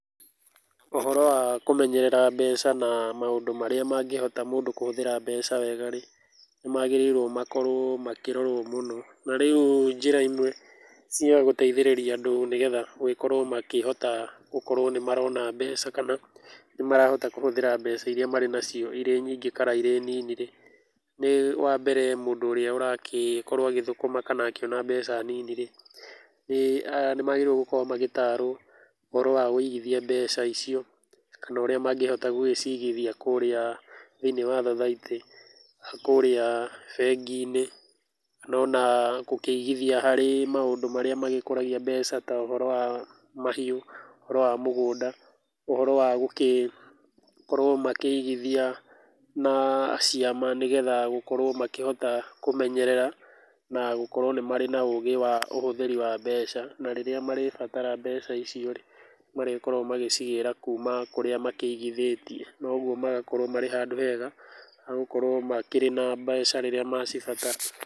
Ũhoro wa kũmenyerera mbeca na maũndũ marĩa mangĩhota mũndũ kũhũthĩra mbeca wega rĩ, nĩmagĩrĩirwo makorwo makĩrorwo mũno na rĩu njĩra imwe cia gũteithĩrĩria andũ, nĩgetha gũgĩkorwo makĩhota gũkorwo nĩmarona mbeca, kana nĩmarahota kũhũthĩra mbeca iria marĩ nacio irĩ nyingĩ kana irĩ nini rĩ, nĩ wa mbere mũndũ ũrĩa ũrakorwo agĩthũkuma kana akĩona mbeca nini rĩ, ĩĩ aah nĩmagĩrĩire gũkorwo magĩtaro ũhoro wa ũigithia mbeca icio, kana ũrĩa mangĩhota gũgĩcigithia kũrĩa thĩiniĩ wa thothaitĩ, kũrĩa bengi-inĩ no na gũkĩigithia harĩ maũndũ marĩa magĩkũragia mbeca ta ũhoro wa mahiũ, ũhoro wa mũgũnda, ũhoro wa gũkĩkorwo magĩkĩigithia na ciama, nĩgetha gũkorwo makĩhota kũmenyerera na gũkorwo nĩ marĩ na ũgĩ wa ũhũthĩri wa mbeca, na rĩrĩa marĩbatara mbeca icio rĩ, marĩkorwo magĩcigĩra kũma kũrĩa makĩigithĩtie, noguo magakorwo marĩ handũ hega ha gũkorwo makĩrĩ na mbeca rĩrĩa macibatara.